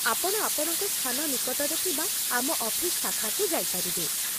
ଆପଣ ଆପଣଙ୍କ ସ୍ଥାନ ନିକଟରେ ଥିବା ଆମ ଅଫିସ୍ ଶାଖାକୁ ଯାଇପାରିବେ।